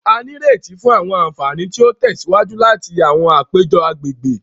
A n'ireti fún àwọn ànfàní ti o tèsíwájú láti àwọn àpéjọ àgbègbè.